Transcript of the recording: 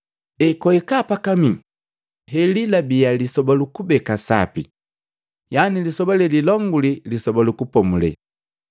Ekwahika pakamii. Helilabia lisoba lukubeka sapi, yani lisoba lelilongulii Lisoba lu Kupomulela.